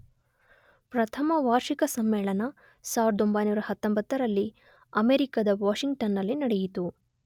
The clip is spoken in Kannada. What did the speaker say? ಪ್ರಥಮ ವಾರ್ಷಿಕ ಸಮ್ಮೇಳನ 1919ರಲ್ಲಿ ಅಮೆರಿಕದ ವಾಷಿಂಗ್ಟನ್ನಲ್ಲಿ ನಡೆಯಿತು.